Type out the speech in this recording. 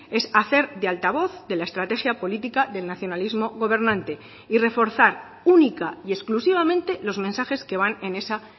es hacer de altavoz de la estrategia política del nacionalismo gobernante y reforzar única y exclusivamente los mensajes que van en esa